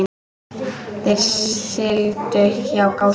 Þeir sigldu hjá Gásum.